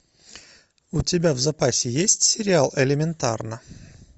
у тебя в запасе есть сериал элементарно